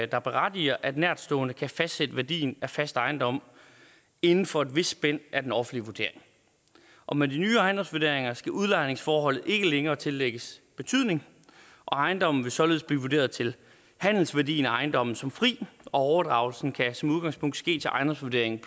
der berettiger at nærtstående kan fastsætte værdien af fast ejendom inden for et vist spænd af den offentlige vurdering og med de nye ejendomsvurderinger skal udlejningsforholdet ikke længere tillægges betydning og ejendommen vil således blive vurderet til handelsværdien af ejendommen som fri og overdragelsen kan som udgangspunkt ske til ejendomsvurderingen